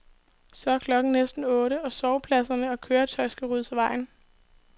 Så er klokken næsten otte, og sovepladser og køjetøj skal ryddes af vejen.